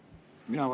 Mina vä?